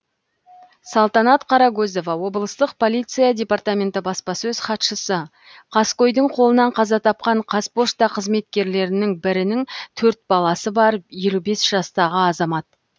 салтанат қарагөзова облыстық полиция департаменті баспасөз хатшысы қаскөйдің қолынан қаза тапқан қазпошта қызметкерлерінің бірінің төрт баласы бар елу бес жастағы азамат